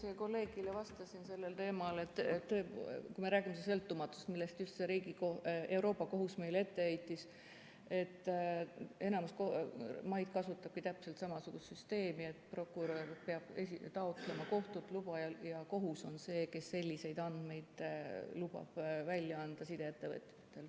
Ma just kolleegile vastasin sellel teemal, et kui me räägime sõltumatusest, mida Euroopa Liidu Kohus meile ette heitis, siis enamik maid kasutabki täpselt samasugust süsteemi, et prokurör peab taotlema kohtult luba ja kohus on see, kes selliseid andmeid lubab välja anda sideettevõtetel.